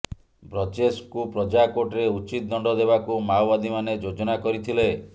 ବ୍ରଜେଶଙ୍କୁ ପ୍ରଜାକୋର୍ଟରେ ଉଚିତ ଦଣ୍ଡ ଦେବାକୁ ମାଓବାଦୀମାନେ ଯୋଜନା କରିଥିଲେ